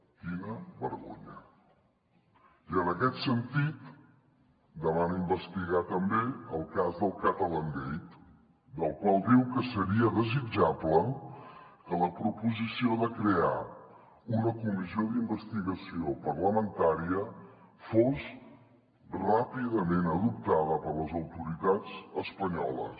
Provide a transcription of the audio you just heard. quina vergonya i en aquest sentit demana investigar també el cas del catalangate del qual diu que seria desitjable que la proposició de crear una comissió d’investigació parlamentària fos ràpidament adoptada per les autoritats espanyoles